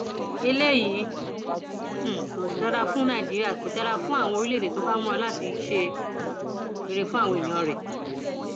eléyìí um kò dára fún nàìjíríà kódà kò dára fún orílẹèdè tó bá ń múra láti ṣe um rere fáwọn èèyàn rẹ